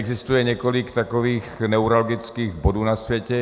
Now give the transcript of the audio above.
Existuje několik takových neuralgických bodů na světě.